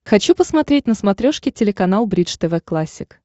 хочу посмотреть на смотрешке телеканал бридж тв классик